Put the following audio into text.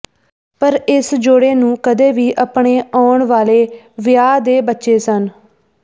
ਪਰ ਇਸ ਜੋੜੇ ਨੂੰ ਕਦੇ ਵੀ ਆਪਣੇ ਆਉਣ ਵਾਲੇ ਵਿਆਹ ਦੇ ਬੱਚੇ ਸਨ